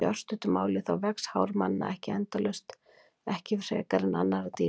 Í örstuttu máli þá vex hár manna ekki endalaust, ekki frekar en annarra dýra.